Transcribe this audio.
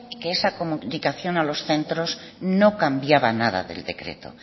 que esa comunicación a los centros no cambiaba nada del decreto